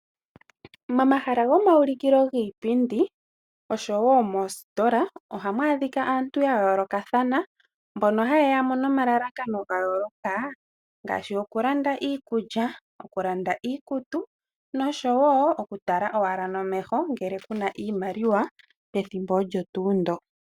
Momahala gomawulikilo giipindi oshowo moositola ohamu adhika aantu ya yoolokathana mbono hayeya nomalalakano ga yoolokathana ngaashi okulanda iikulya ,okulanda iikutu noshowo okutala owala nomeho ngele kuna iimaliwa pethimbo olyo nduu ndoka.